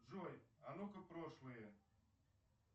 джой а нука прошлые